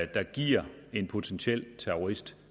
der giver en potentiel terrorist